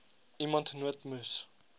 iemand nood moes